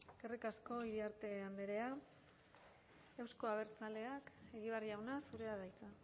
eskerrik asko iriarte andrea euzko abertzaleak egibar jauna zurea da hitza